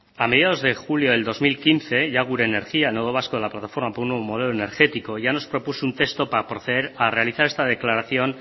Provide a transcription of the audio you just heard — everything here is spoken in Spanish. a mediados de julio del dos mil quince plataforma por un nuevo modelo energético ya nos propuso un texto para proceder a realizar esta declaración